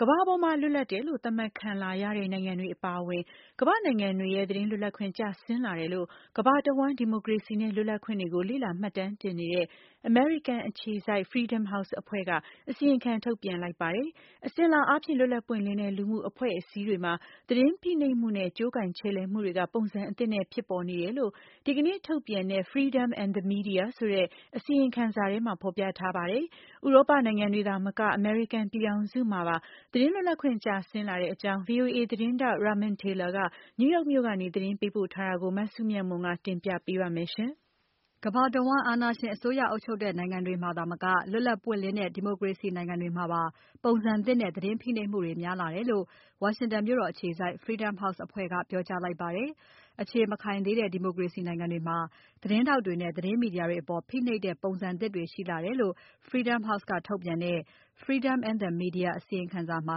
ကမ္ဘာပေါ်မှာ လွတ်လပ်တယ်လို့ သတ်မှတ်ခံလာရတဲ့ နိုင်ငံတွေအပါအဝင် ကမ္ဘာ့နိုင်ငံတွေရဲ့ သတင်းလွတ်လပ်ခွင့် ကျဆင်းလာတယ်လို့ ကမ္ဘာတဝန်း ဒီမိုကရေစီနဲ့ လွတ်လပ်ခွင့်တွေကို လေ့လာမှတ်တမ်းတင်နေတဲ့ အမေရိကန်အခြေစိုက် Freedom House အဖွဲ့က အစီရင်ခံထုတ်ပြန်လိုက်ပါတယ်။ အစဉ်အလာအားဖြင့် လွတ်လပ်ပွင့်လင်းတဲ့ လူမှုအဖွဲ့အစည်းတွေမှာ သတင်းဖိနှိပ်မှုနဲ့ ကြိုးကိုင် ချယ်လှယ်မှုတွေက ပုံစံသစ်နဲ့ ဖြစ်ပေါ်နေတယ်လို့ ဒီကနေ့ ထုတ်ပြန်တဲ့ Freedom and the Media ဆိုတဲ့ အစီရင်ခံစာထဲမှာ ဖော်ပြထားပါတယ်။ ဥရောပနိုင်ငံတွေမှာသာမက အမေရိကန်ပြည်ထောင်စုမှာပါ သတင်းလွတ်လပ်ခွင့် ကျဆင်းလာတဲ့အကြောင်း VOA သတင်းထောက် Ramon Taylor က New York မြို့ကနေ သတင်းပို့ထားပါတယ်။ မစုမြတ်မွန်က တင်ပြပါမယ်။ ကမ္ဘာတဝန်း အာဏာရှင်အစိုးရအုပ်ချုပ်တဲ့ နိုင်ငံတွေမှာသာမက လွတ်လပ်ပွင့်လင်းတဲ့ ဒီမိုကရေစီနိုင်ငံတွေမှာပါ ပုံစံသစ်နဲ့ သတင်းဖိနှိပ်မှုတွေ များလာတယ်လို့ ဝါရှင်တန်မြို့တော် အခြေစိုက် Freedom House အဖွဲ့က ပြောကြားလိုက်ပါတယ်။ အခြေမခိုင်သေးတဲ့ ဒီမိုကရေစီနိုင်ငံတွေမှာ သတင်းထောက်တွေနဲ့ သတင်း မီဒီယာတွေအပေါ် ဖိနှိပ်တဲ့ ပုံစံသစ်တွေ ရှိလာတယ်လို့ Freedom House ကထုတ်ပြန်တဲ့ Freedom and the Media အစီရင်ခံစာမှာ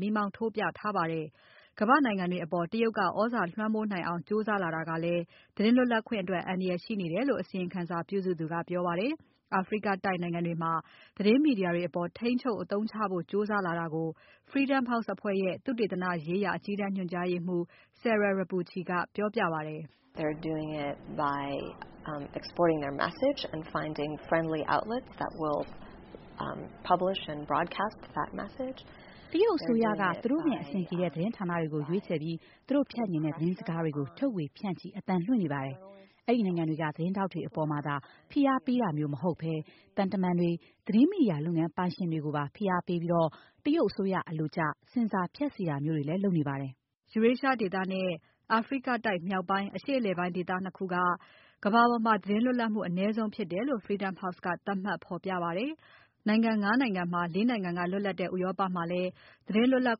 မီးမောင်း ထိုးပြထားပါတယ်။ ကမ္ဘာ့နိုင်ငံတွေအပေါ် တရုတ်က သြဇာလွှမ်းမိုးနိုင်အောင် ကြိုးစားလာတာကလည်း သတင်းလွတ်လပ်ခွင့်အတွက် အန္တရာယ်ရှိနေတယ်လို့ အစီရင်ခံစာပြုစုသူက ပြောပါတယ်။ အာဖရိကတိုက်နိုင်ငံတွေမှာ သတင်းမီဒီယာတွေအပေါ် ထိန်းချုပ်အသုံးချဖို့ ကြိုးစားလာတာကို Freedom House အဖွဲ့ရဲ့ သုတေသနရေးရာ အကြီးတန်းညွှန်ကြားရေးမှူး Sarah Repucci ကပြောပါတယ်။ "တရုတ်အစိုးရကနဲ့ သူတို့နဲ့ အဆင်ပြေတဲ့ သတင်းဌာနတွေကို ရွေးချယ်ပြီး သူတို့ဖြန့်ချင်တဲ့ သတင်းစကားတွေကို ထုတ်ဝေဖြန့်ချီ အသံလွှင့်နေပါတယ်။ အဲဒီနိုင်ငံတွေက သတင်းထောက်တွေအပေါ်မှာသာ ဖိအားပေးတာမျိုး မဟုတ်ဘဲ သံတမန်တွေ၊ သတင်းမီဒီယာလုပ်ငန်းပိုင်ရှင်တွေကိုပါ ဖိအားပေးပြီး တရုတ်အစိုးရ အလိုကျ ဆင်ဆာဖြတ်စေတာမျိုးတွေလည်း လုပ်နေပါတယ်။" Eurasia ဒေသနဲ့ အာဖရိကတိုက် မြောက်ပိုင်း အရှေ့အလယ်ပိုင်းဒေသ ၂ ခုက ကမ္ဘာပေါ်မှာ သတင်းလွတ်လပ်မှု အနည်းဆုံးဖြစ်တယ်လို့ Freedom House က သတ်မှတ်ဖော်ပြပါတယ်။ နိုင်ငံ ငါး နိုင်ငံမှာ လေး နိုင်ငံက လွတ်လပ်တဲ့ ဥရောပမှာလည်း သတင်းလွတ်လပ်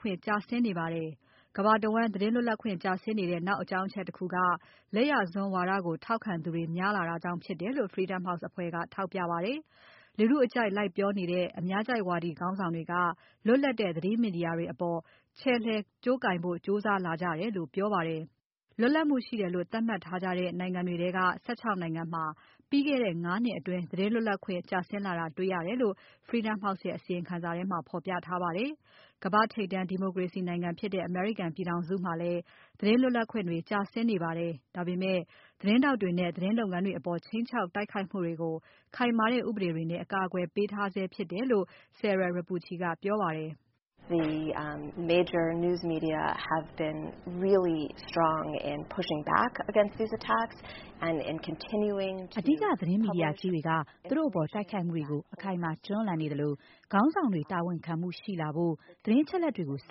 ခွင့် ကျဆင်းနေပါတယ်။ ကမ္ဘာတဝန်း သတင်းလွတ်လပ်ခွင့် ကျဆင်းနေတဲ့ နောက်အကြောင်းအချက်တခုက လက်ယာစွန်းဝါဒကို ထောက်ခံသူတွေ များလာတာကြောင့် ဖြစ်တယ်လို့ Freedom House အဖွဲ့က ထောက်ပြပါတယ်။ လူထုအကြိုက်လိုက်ပြောနေတဲ့ အများကြိုက်ဝါဒီ ခေါင်းဆောင်တွေက လွတ်လပ်တဲ့ သတင်းမီဒီယာတွေအပေါ် ချယ်လှယ်နိုင်ဖို့ ကြိုးစားလာကြတယ်လို့ ပြောပါတယ်။ လွတ်လပ်မှုရှိတယ်လို့ သတ်မှတ်ထားကြတဲ့ နိုင်ငံတွေထဲက ၁၆ နိုင်ငံမှာ ပြီးခဲ့တဲ့ ငါး နှစ်အတွင်း သတင်းလွတ်လပ်ခွင့် ကျဆင်းလာတာ တွေ့ရတယ်လို့ Freedom House ရဲ့အစီရင်ခံစာထဲမှာ ဖော်ပြထားပါတယ်။ ကမ္ဘာ့ထိပ်တန်း ဒီမိုကရေစီနိုင်ငံဖြစ်တဲ့ အမေရိကန်ပြည်ထောင်စုမှာလည်း သတင်းလွတ်လပ်ခွင့်တွေ ကျဆင်းနေပါတယ်။ ဒါပေမဲ့ သတင်းထောက်တွေနဲ့ သတင်းလုပ်ငန်းတွေအပေါ် ခြိမ်းခြောက် တိုက်ခိုက်မှုတွေကို ခိုင်မာတဲ့ ဥပဒေတွေနဲ့ အကာအကွယ်ထားတယ်လို့ Sarah Repucci ကပြောပါတယ်။ "အဓိက သတင်းမီဒီယာကြီးတွေက သူတို့အပေါ် တိုက်ခိုက်မှုတွေကို အခိုင်အမာ တွန်းလှန်နေသလို ခေါင်းဆောင်တွေ တာဝန်ခံမှု ရှိလာဖို့ သတင်းအချက်အလက်တွေကို ဆ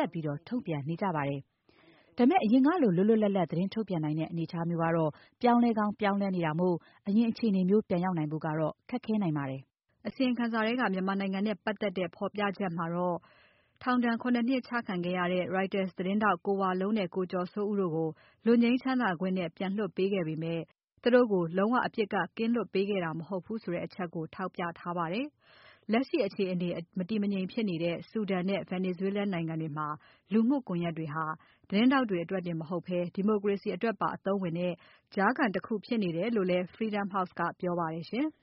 က်ပြီး ထုတ်ပြန်နေကြပါတယ်။ ဒါပေမဲ့ အရင်ကလို လွတ်လွတ်လပ်လပ် သတင်းထုတ်ပြန်နိုင်တဲ့ အနေအထားမျိုးကတော့ ပြောင်းလဲကောင်း ပြောင်းလဲနေတာမို့ အရင်အခြေအနေမျိုး ပြန်ရောက်နိုင်ဖို့ကတော့ ခက်ခဲနိုင်ပါတယ်။" အစီရင်ခံစာထဲမှာ မြန်မာနိုင်ငံနဲ့ ပါတ်သက်တဲ့ ဖော်ပြချက်မှာတော့ ခုနစ် နှစ် ထောင်ချခံရတဲ့ Reuters သတင်းထောက် ကိုဝလုံးနဲ့ ကိုကျော်စိုးဦးတို့ကို လွတ်ငြိမ်းချမ်းသာခွင့်နဲ့ ပြန်လွှတ်ပေးခဲ့ပေမဲ့ သူတို့ကို လုံးဝအပြစ်က ကင်းလွတ်ပေးခဲ့တာ မဟုတ်ဘူးဆိုတဲ့အချက်ကို ထောက်ပြထားပါတယ်။ လက်ရှိအခြေအနေ မတည်မငြိမ်ဖြစ်နေတဲ့ Sudan နဲ့ Venezuela နိုင်ငံတွေမှာ လူမှုကွန်ယက်တွေဟာ သတင်းထောက်တွေအတွက်တင် မဟုတ်ဘဲ ဒီမိုကရေစီအတွင်ပါ အသုံးဝင်တဲ့ ကြားခံတခု ဖြစ်နေတယ်လို့လည်း Freedom House က ပြောပါတယ်ရှင်။